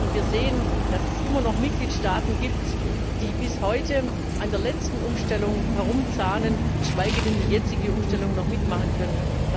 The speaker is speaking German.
Und wir sehen, dass es immer noch Mitgliedstaaten gibt, die bis heute an der letzten Umstellung herumzahnen, geschweige denn die jetzige Umstellung noch mitmachen können.